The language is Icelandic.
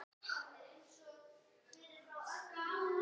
Þetta hefur gerst.